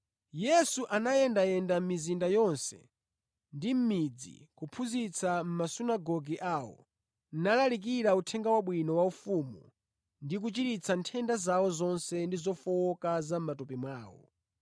Yesu anayendayenda mʼmizinda yonse ndi mʼmidzi, kuphunzitsa mʼmasunagoge awo, nalalikira Uthenga Wabwino wa ufumu ndi kuchiritsa nthenda zawo zonse ndi zofowoka za mʼmatupi mwawo.